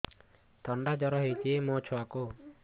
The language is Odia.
ଥଣ୍ଡା ଜର ହେଇଚି ମୋ ଛୁଆକୁ